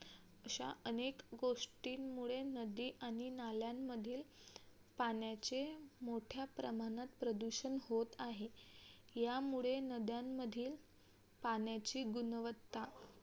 अशा अनेक गोष्टींमुळे नदी आणि नाल्यांमधील पाण्याचे मोठ्या प्रमाणात प्रदूषण होत आहे. यामुळे नद्यांमधील पाण्याची गुणवत्ता